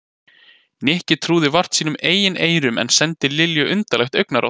Nikki trúði vart sínum eigin eyrum en sendi Lilju undarlegt augnaráð.